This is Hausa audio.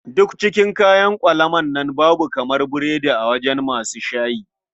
Duk cikin kayan ƙwalaman nan babu kamar burodi a wajen masu saye.